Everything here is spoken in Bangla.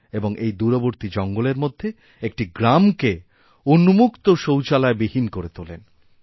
এবং এই দূরবর্তী জঙ্গলের মধ্যেএকটি গ্রামকে উন্মুক্ত শৌচালয়বিহীন করে তোলেন